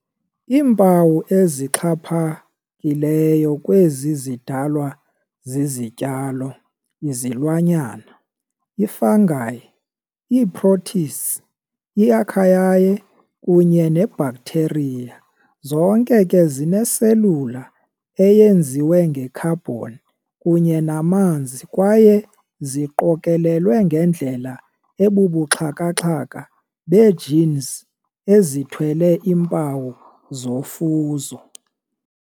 Iimpawu ezixhaphakileyo kwezi zidalwa zizityalo, izilwanyana, i-fungi, ii-protists, i-archaea, kunye ne-bacteria, zonke ke zinee-cellular eyenziwe nge-carbon kunye namanzi kwaye ziqokolelwe ngendlela ebubuxhakaxhaka bee-genes ezithwele iimpawu zofuzo.